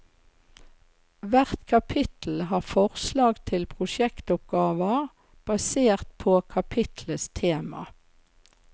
Hvert kapittel har forslag til prosjektoppgaver basert på kapitlets tema.